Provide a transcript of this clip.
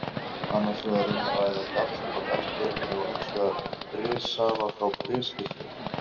Annars vegar er um að ræða gall frá gallblöðrunni og hins vegar brissafa frá briskirtlinum.